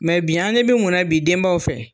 bi an ɲɛ bɛ mun na bi denbaw fɛ?